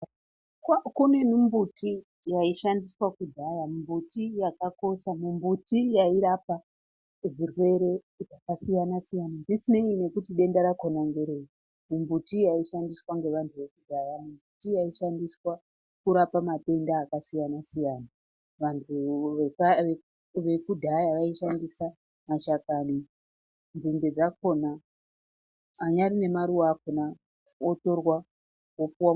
Kune mimbuti yaishandiswa kudhaya, mimbuti yakakosha, mimbuti yairapa zvirwere zvakasiyana siyana zvisinei nekuti denda rakona ngerei. Mimbuti yaishandiswa ngevantu vekudhaya iyi mbuti yaishandiswa kurapa matenda akasiyana siyana. Vantu vekudhaya vaishandisa mashakani, nzinde dzakona, anyari nemaruwa akona otorwa opuwa...